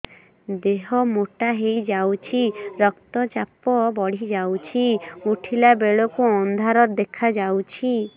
ଦେହ ମୋଟା ହେଇଯାଉଛି ରକ୍ତ ଚାପ ବଢ଼ି ଯାଉଛି ଉଠିଲା ବେଳକୁ ଅନ୍ଧାର ଦେଖା ଯାଉଛି